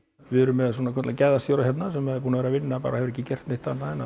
við erum með svokallaðan gæðastjóra hérna sem er búinn að vera að vinna bara hefur ekki gert neitt annað en